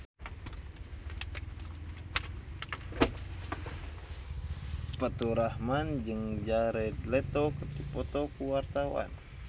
Faturrahman jeung Jared Leto keur dipoto ku wartawan